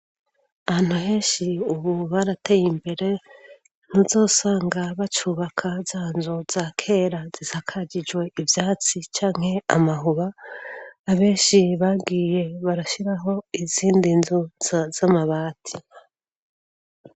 Ahantu henshi ubu barateye imbere ntuzosanga bacubaka zanzu za kera zisakagijwe ibyatsi cyanke amahuba abenshi babwiye barashyiraho izindi nzu z'amabati